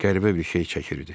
Qəribə bir şey çəkirdi.